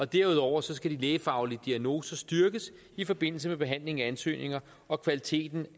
derudover skal de lægefaglige diagnoser styrkes i forbindelse med behandlingen af ansøgninger og kvaliteten